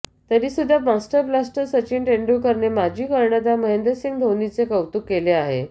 तरीसुद्धा master blaster Sachin तेंडुलकरने माजी कर्णधार महेंद्रसिंग धोनीचे कौतुक केले आहे